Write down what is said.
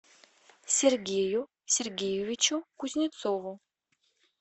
сергею сергеевичу кузнецову